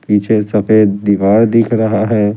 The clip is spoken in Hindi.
पीछे सफेद दीवार दिख रहा है ।